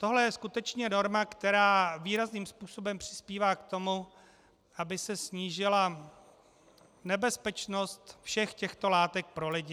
Tohle je skutečně norma, která výrazným způsobem přispívá k tomu, aby se snížila nebezpečnost všech těchto látek pro lidi.